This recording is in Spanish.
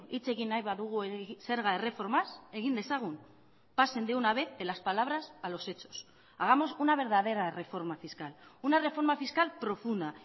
hitz egin nahi badugu zerga erreformaz egin dezagun pasen de una vez de las palabras a los hechos hagamos una verdadera reforma fiscal una reforma fiscal profunda